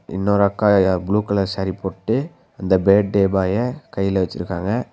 இன்னொரு அக்கா ஏ ப்ளூ கலர் சேரி போட்டு அந்த பேட்டே பாய கைல வெச்சிருக்காங்க.